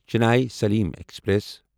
Chennai Salem express